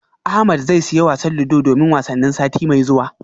Ahmed zai siya wasan ludo domin wasannin sati mai zuwa